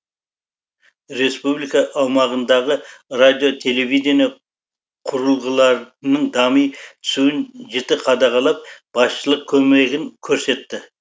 республика аумағындағы радио телевидение құрылғыларының дами түсуін жіті қадағалап басшылық көмегін көрсетті